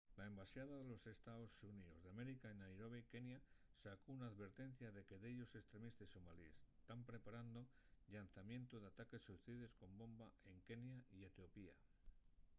la embaxada de los estaos xuníos d’américa en nairobi kenya sacó una alvertencia de que dellos estremistes somalíes” tán preparando’l llanzamientu d’ataques suicides con bomba en kenya y etiopía